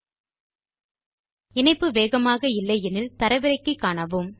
வேகமான இணைப்பு இல்லையானால் தரவிறக்கி பாருங்கள்